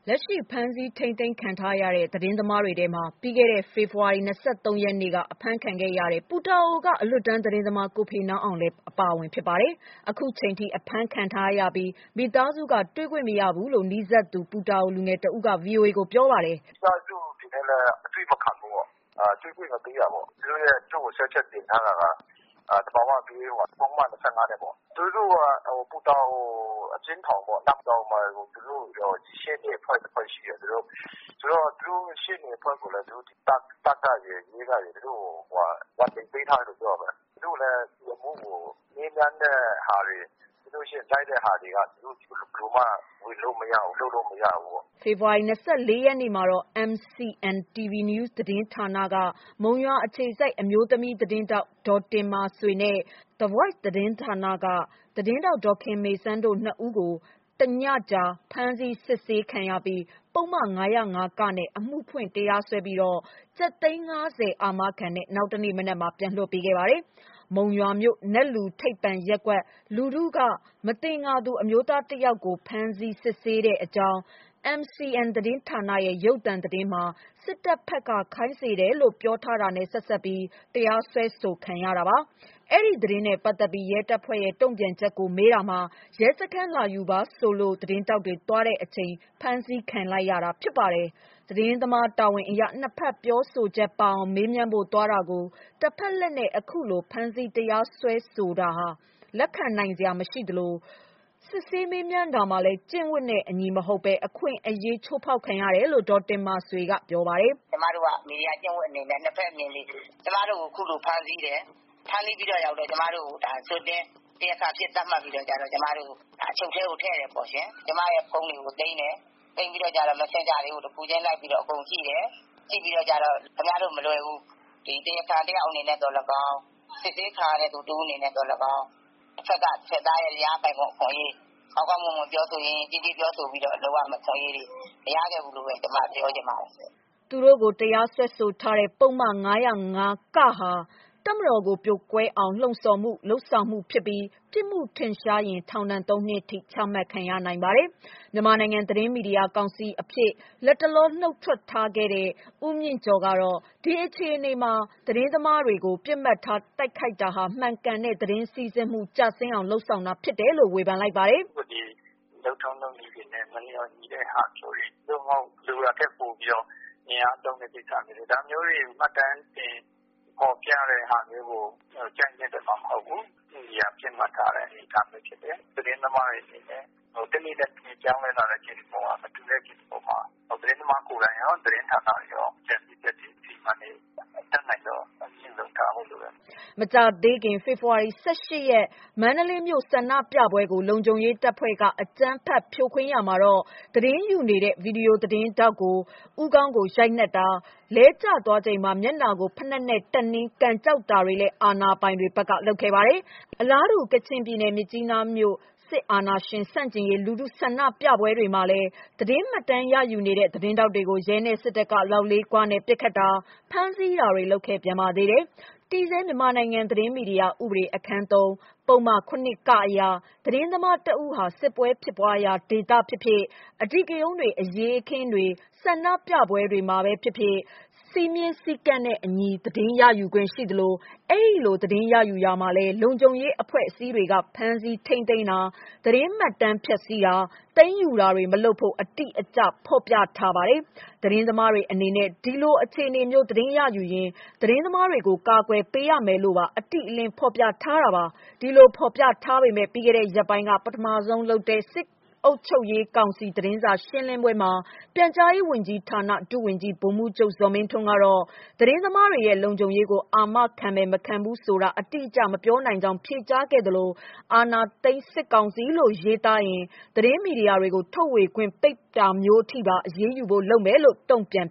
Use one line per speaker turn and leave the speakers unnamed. လက်ရှိ ဖမ်းဆီးထိန်းသိမ်းခံထားရတဲ့ သတင်းသမားတွေထဲမှာ ပြီးခဲ့တဲ့ ဖေဖော်ဝါရီ ၂၃ ရက်နေ့က အဖမ်းခံခဲ့ရတဲ့ ပူတာအိုက အလွတ်တန်းသတင်းသမား ကိုဖေနောင်းအောင်လည်း အပါအဝင်ဖြစ်ပါတယ်။ ခုချိန်ထိ အဖမ်းခံထားရပြီး မိသားစုက တွေ့ခွင့်မရဘူးလို့ နီးစပ်သူ ပူတာအို လူငယ်တဦးက ဗွီအိုအေကိုပြောပါတယ်။
"ထောင်ထဲမှာဗျ။ သူတို့မိဘတွေနဲ့လည်းမတွေ့ရဘူးပေးကိုမတွေ့ခိုင်းတာ။သူ့ကိုဆွဲချက်က သဘာဝဘေးဥပဒေနဲ့ တင်ထားတယ်။ သူ့ကို ပူတာအို အကျဉ်းထောင်မှာ နန်ဝေါ့ အကျဉ်းထောင်မှာ။ ရှေ့နေတွေက ပူတာအိုမှာ ကူညီသူတွေရှိတယ်။ ဒါပေမယ့် သူတို့ရှေ့နေအဖွဲ့ကိုလည်း တပ်နဲ့ရဲက warning (သတိ) ပေးတယ်လို့ ပြောတာပဲ။ သူတို့ ရှေ့နေအဖွဲ့တွေက ဒီအမှုကိုမေးတာ ၊ ဝင်တာတွေက ဘယ်လိုမှ လုပ်လို့မရဘူးဖြစ်နေတယ်
။" ဖေဖော်ဝါရီလ ၂၄ ရက်နေ့မှာတော့ MCN TV NEWS သတင်းဌာနက မုံရွာအခြေစိုက် အမျိုးသမီးသတင်းထောက် ဒေါ်တင်မာဆွေနဲ့ The Voice သတင်းဌာနက သတင်းထောက် ဒေါ်ခင်မေစန်းတို့ နှစ် ဦးကို တညကြာ ဖမ်းဆီးစစ်ဆေးခံရပြီး ပုဒ်မ ၅၀၅ (က) နဲ့ပဲ အမှုဖွင့် တရားစွဲပြီးတော့ ကျပ်သိန်း ၅၀ အာမခံနဲ့ နောက်တနေ့မနက်မှာ ပြန်လွှတ်ပေးခဲ့ပါတယ်။ မုံရွာမြို့ နတ်လူထိပ်ပန်ရပ်ကွက် လူထုက မသင်္ကာသူ အမျိုးသားတစ်ယောက်ကို ဖမ်းဆီး စစ်ဆေးတဲ့အကြောင်း MCN သတင်းဌာနရဲ့ ရုပ်သံသတင်းမှာ စစ်တပ်ဘက်က ခိုင်းစေတယ်လို့ ပြောထားတာနဲ့ ဆက်စပ်ပြီး တရားစွဲဆိုခံရတာပါ။ အဲဒီသတင်းနဲ့ ပတ်သက်ပြီး ရဲတပ်ဖွဲ့ရဲ့ တုံ့ပြန်ချက်ကိုမေးတာမှာ ရဲစခန်း လာယူပါဆိုလို့ သတင်းထောက်တွေ သွားတဲ့အချိန် ဖမ်းဆီးလိုက်တာဖြစ်ပါတယ်။ သတင်းသမားတာဝန်အရ နှစ်ဘက် ပြောဆိုချက်ပါအောင် မေးမြန်းဖို့သွားတာကို တဘက်လှည့်နဲ့ အခုလို ဖမ်းဆီး တရားစွဲဆိုတာ လက်ခံနိုင်စရာ မရှိသလို စစ်ဆေးမေးမြန်းတာမှာလည်း ကျင့်ဝတ်နဲ့အညီ မဟုတ်ဘဲ အခွင့်အရေး ချိုးဖောက်ခံခဲ့ရတယ်လို့ ဒေါ်တင်မာဆွေက ပြောပါတယ်။ "
ကျမတို့က မီဒီယာကျင့်ဝတ်နဲ့အညီ ၂ ဖက်မြင်စေချင်တယ် ။ ကျမတို့ကို အခုလိုဖမ်းဆီးတယ်။ ရောက်တော့ ကျမတို့ကို တရားခံအဖြစ်သတ်မှတ်ပြီးတော့ အချုပ်ထဲထည့်တယ်။ ကျမ ဖုန်းတွေကို သိမ်းတယ် ၊ သိမ်းပြီးတော့ မက်ဆင်ဂျာတွေကို တခုချင်း အကုန်ကြည့်တယ်၊ ကြည့်ပြီးတော့ ခင်ဗျားတို့မလွယ်ဘူးဆိုတာမျိုး ပြောတယ်။ ကျမတို့တရားခံတယောက်အနေနဲ့သော်လည်းကောင်း စစ်ဆေးခံရသူ အနေနဲ့သော်လည်းကောင်း တဖက်သားရဲ့ ရပိုင်ခွင့် အခွင့်အရေး ကောင်းကောင်းမွန်မွန် ယဉ်ယဉ်ကျေးကျေး ပြောဆိုပြီးတော့ လုပ်ရမယ့်အခွင့်အရေး မရခဲ့ဘူးလို့ ကျမပြောချင်ပါတယ်
။” သူတို့ကို တရားစွဲဆိုတဲ့ ပုဒ်မ ၅၀၅ (က) ဟာ တပ်မတော်ကို ပြိုကွဲအောင် လှုံ့ဆော်မှု/လုပ်ဆောင်မှု ဖြစ်ပြီး ပြစ်မှုထင်ရှားရင်ထောင် သုံး နှစ်ထိ ချမှတ်နိုင်ပါတယ်။ မြန်မာနိုင်ငံ သတင်းမီဒီယာကောင်စီဝင်အဖြစ်ကနေ နုတ်ထွက်ခဲ့တဲ့ ဦးမြင့်ကျော်ကတော့ ဒီအခြေအနေမှာ သတင်းမီဒီယာသမားတွေကို ပစ်မှတ်ထားတိုက်ခိုက်တာဟာ မှန်ကန်တဲ့သတင်းစီးဆင်းမှု ကျဆင်းအောင်လုပ်တာဖြစ်တယ်လို့ ဝေဖန်ပါတယ်
။ " လုပ်ထုံးလုပ်နည်းတွေနဲ့ မလျော်ညီတဲ့ဟာမျိုးတွေ သို့မဟုတ် လိုတာထက်ပိုပြီးတော့ အင်အားသုံးတဲ့ ကိစ္စမျိုးတွေ ဒါမျိုးတွေမှတ်တမ်းတင်ဖော်ပြတာတွေကို ကြိုက်နှစ်သက်မှာမဟုတ်ဘူး။ ဥပဒေအရ ပစ်မှတ်ထားတဲ့ အနေအထားဖြစ်တယ်။ သတင်းသမားတွေ အနေနဲ့ တနေ့နဲ့တနေ့ ပြောင်းလဲလာတဲ့ case အပေါ် ၊ မတူတဲ့ case အပေါ်မှာ သတင်းသမားကိုယ်တိုင်ရော၊ သတင်းဌာနတွေရော အကြံပြုချက်တွေ အစီအမံတွေ အတတ်နိုင်ဆုံး သတိထားဖို့လိုတယ်။
” မကြာသေးခင် ဖေဖေါ်ဝါရီလ ၁၈ ရက် မန္တလေးမြို့ဆန္ဒပြပွဲကို လုံခြုံရေးတပ်ဖွဲ့က အကြမ်းဖက်ဖြိုခွင်းရာမှာ၊ သတင်းယူနေတဲ့ ဗွီဒီယိုသတင်းထောက် ဦးခေါင်းကို ရိုက်နှက်တာ၊ လဲကျသွားချိန်မှာ မျက်နှာကို ဖိနပ်နဲ့ တက်နင်း ကန်ကျောက်တာတွေလည်း အာဏာပိုင်တွေ ဘက်က လုပ်ခဲ့ပါတယ်။ အလားတူ ကချင်ပြည်နယ် မြစ်ကြီးနားမြို့ စစ်အာဏာရှင်ဆန့်ကျင်ရေး လူထုဆန္ဒပြပွဲတွေမှာလည်း သတင်းမှတ်တမ်းရယူနေတဲ့ သတင်းထောက်တွေကို ရဲနဲ့စစ်တပ်က လောက်လေးခွနဲ့ ပစ်ခတ်တာ၊ ဖမ်းဆီးတာတွေ လုပ်ခဲ့ပြန်ပါသေးတယ်။ တည်ဆဲ မြန်မာနိုင်ငံ သတင်းမီဒီယာဥပဒေ အခန်း (၃) ပုဒ်မ ၇ (က) အရ၊ သတင်းသမားတစ်ဦးဟာ စစ်ဖြစ်ပွားရာ ဒေသပဲဖြစ်ဖြစ်၊ အဓိကရုဏ်းတွေ၊ အရေးအခင်းတွေ၊ ဆန္ဒပြပွဲတွေမှာပဲဖြစ်ဖြစ် စည်းမျဉ်းစည်းကမ်းနဲ့အညီ သတင်းရယူခွင့်ရှိသလို အဲဒီလို သတင်းရယူရာမှာလည်း လုံခြုံရေးအဖွဲ့အစည်းတွေက ဖမ်းဆီးထိန်းသိမ်းတာ၊ သတင်းမှတ်တမ်းဖျက်ဆီးတာ၊ သိမ်းယူတာတွေ မလုပ်ဖို့ အတိအကျ ဖော်ပြထားပါတယ်။ သတင်းသမားတွေအနေနဲ့ ဒီလိုအခြေအနေမျိုး သတင်းရယူရင် သတင်းသမားတွေကို ကာကွယ်ပေးရမယ်လို့ပါ အတိအကျ ဖေါ်ပြထားပါတယ်။ ဒီလိုဖော်ပြထားပေမယ့် ပြီးခဲ့တဲ့ ရက်ပိုင်းက ပထမဆုံးလုပ်တဲ့ စစ်အုပ်ချုပ်ရေး ကောင်စီသတင်းစာရှင်းပွဲမှာ ပြန်ကြားရေးဝန်ကြီးဌာန ဒုဝန်ကြီး ဗိုလ်မှူးချုပ်ဇော်မင်းထွန်းက သတင်းသမားတွေရဲ့ လုံခြုံရေးကို အာမခံမယ်၊ မခံဘူးဆိုတာ အတိအကျ မပြောနိုင်ကြောင်းဖြေကြားခဲ့သလို အာဏာသိမ်းစစ်ကောင်စီလို့ ရေးသားရင် သတင်းမီဒီယာတွေကို ထုတ်ဝေခွင့် ပိတ်သိမ်းတာမျိုးထိပါ အရေးယူဖို့လုပ်မယ်လို့ တုံ့ပြန်